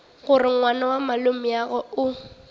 gore ngwana wa malomeagwe o